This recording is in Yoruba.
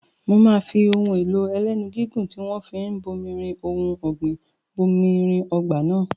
Mo máa fi ohun èlò ẹlẹ́nu gígùn tí wọ́n fi ń bomirin ohun ọ̀gbìn bomirin ọgbà náà.